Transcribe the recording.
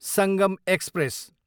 Sangam express